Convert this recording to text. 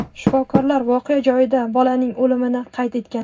Shifokorlar voqea joyida bolaning o‘limini qayd etgan.